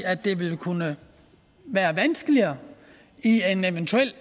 at det vil kunne være vanskeligere i en eventuel